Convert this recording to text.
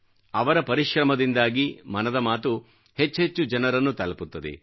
ಅವರ ಪರಿಶ್ರಮದಿಂದಾಗಿ ಮನದ ಮಾತು ಹೆಚ್ಹೆಚ್ಚು ಜನರನ್ನು ತಲಪುತ್ತದೆ